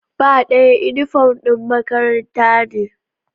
Ba ɗaya, inifom ɗin makaranta ne